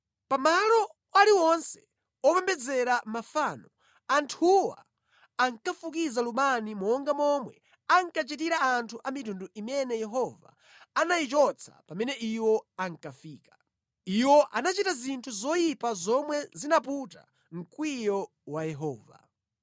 Pa malo aliwonse opembedzera mafano, anthuwa ankafukiza lubani monga momwe ankachitira anthu a mitundu imene Yehova anayichotsa pamene iwo ankafika. Iwo anachita zinthu zoyipa zomwe zinaputa mkwiyo wa Yehova.